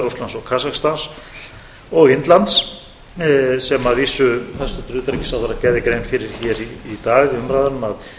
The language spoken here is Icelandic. rússlands og kasakstans og indlands sem hæstvirtur utnaríkisráherra gerði grein fyrir hér í dag í umræðunum að